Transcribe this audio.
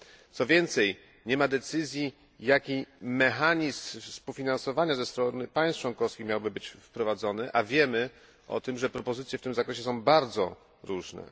Co więcej nie ma decyzji jaki mechanizm współfinansowania ze strony państw członkowskich miałby być wprowadzony, a wiemy o tym, że propozycje w tym zakresie są bardzo różne.